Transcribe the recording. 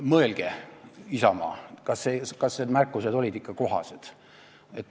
Mõelge, Isamaa, kas need märkused olid ikka kohased.